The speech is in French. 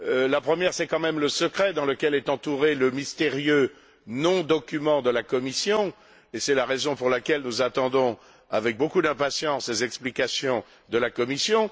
La première, c'est le secret dont est entouré le mystérieux non document de la Commission, et c'est la raison pour laquelle nous attendons avec beaucoup d'impatience les explications de la Commission.